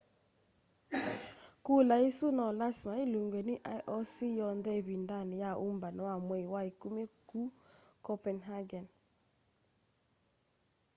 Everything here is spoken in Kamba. kula isu no lasima ilungwe ni ioc yonthe ivindani ya umbano wa mwei wa ikumi kuu copenhagen